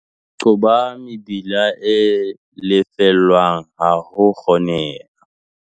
Qoba mebila e lefellwang ha ho kgoneha.